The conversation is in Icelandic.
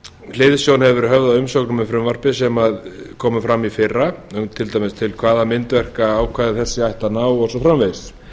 hliðsjón hefur verið höfð af umsögnum um frumvarpið sem komu fram í fyrra um til dæmis hvaða myndverka ákvæði þessi ættu að ná og svo framvegis